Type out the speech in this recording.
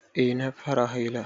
Eh na fara haila.